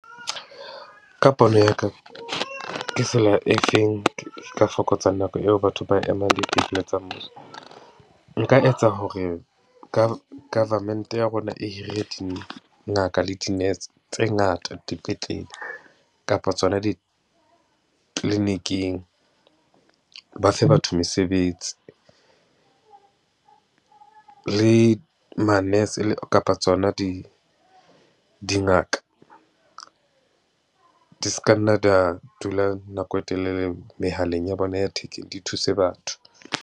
Ka pono ya ka, ke tsela e feng ka fokotsang nako eo batho ba emang dipetleleng tsa mmuso. Nka etsa hore ka government ya rona e hire dingaka le dinese tse ngata dipetlele kapa tsona dikliniking. Ba fe batho mesebetsi le manese kapa tsona di, dingaka di ska nna di ya dula nako e telele mehaleng ya bona ya thekeng, di thuse batho.